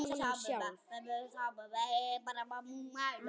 Þetta er allt eins.